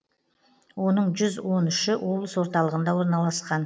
оның жүз он үші облыс орталығында орналасқан